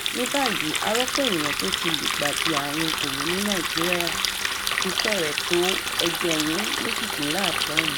ní báyìí àròpọ̀ èèyàn tó ti lùgbàdì àrùn kọ̀rọ̀ ní nàìjíríà ti fẹ́rẹ̀ tó ẹgbẹ̀rún méjìdínláàádọ́rin